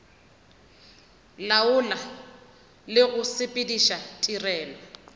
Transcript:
laola le go sepediša tirelo